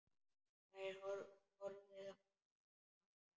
Þær horfðu þangað allar.